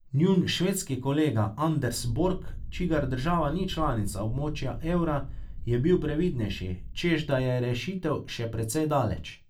Njun švedski kolega Anders Borg, čigar država ni članica območja evra, je bil previdnejši, češ da je rešitev še precej daleč.